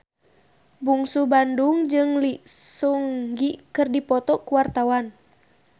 Bungsu Bandung jeung Lee Seung Gi keur dipoto ku wartawan